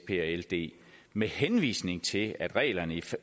ld med henvisning til reglerne